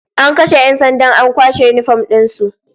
An kashe 'yan sandan an kwashe yinifom din su